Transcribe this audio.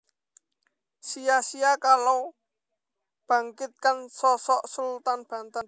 Sia sia Kalau Bangkitkan Sosok Sultan Banten